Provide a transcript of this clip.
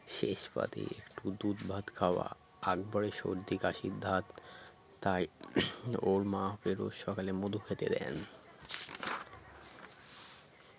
শেষ পাতে একটু দুধ ভাত খাওয়া আকবরের সর্দি কাশির ধাত তাই ওর মা ওকে রোজ সকালে মধু খেতে দেন